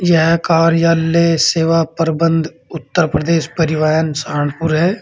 यह कार्यालय सेवा प्रबंध उत्तर प्रदेश परिवहन सहारनपुर है।